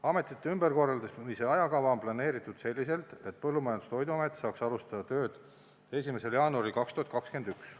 Ametite ümberkorraldamise ajakava on planeeritud selliselt, et Põllumajandus- ja Toiduamet saaks alustada tööd 1. jaanuaril 2021.